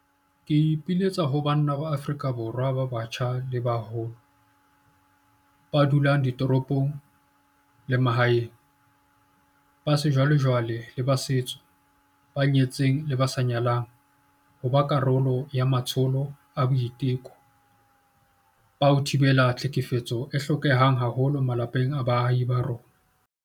Ke ipiletsa ho banna ba Afrika Borwa ba batjha le ba baholo, ba dulang ditoropong le ba mahaeng, ba sejwalejwale le ba setso, ba nyetseng le ba sa nyalang, ho ba karolo ya matsholo a boiteko ba ho thibela tlhekefetso a hlokehang haholo malapeng le baahing ba rona.